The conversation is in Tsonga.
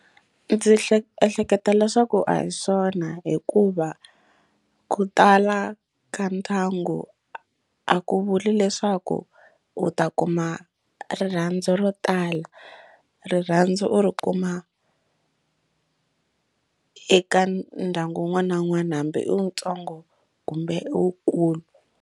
Ndzi hleketa leswaku a hi swona hikuva ku tala ka ndyangu a ku vuli leswaku u ta kuma a rirhandzu ro tala rirhandzu u ri kuma eka ndyangu wun'wana na wun'wana hambi i wutsongo kumbe i wukulu.